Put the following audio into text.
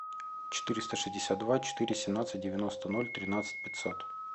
четыреста шестьдесят два четыре семнадцать девяносто ноль тринадцать пятьсот